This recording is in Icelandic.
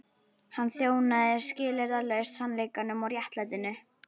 Hann þjónaði skilyrðislaust sannleikanum og réttlætinu.